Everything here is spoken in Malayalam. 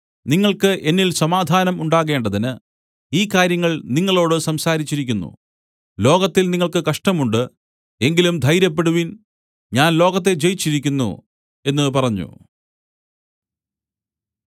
നിങ്ങൾക്ക് എന്നിൽ സമാധാനം ഉണ്ടാകേണ്ടതിന് ഈ കാര്യങ്ങൾ നിങ്ങളോടു സംസാരിച്ചിരിക്കുന്നു ലോകത്തിൽ നിങ്ങൾക്ക് കഷ്ടങ്ങൾ ഉണ്ട് എങ്കിലും ധൈര്യപ്പെടുവിൻ ഞാൻ ലോകത്തെ ജയിച്ചിരിക്കുന്നു എന്നു പറഞ്ഞു